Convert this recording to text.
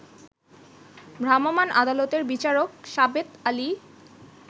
ভ্রাম্যমান আদালতের বিচারক সাবেত আলী